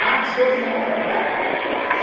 Marca as coisas e dá para trás.